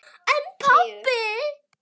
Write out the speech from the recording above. En pabbi.